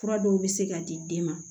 Fura dɔw bɛ se ka di den ma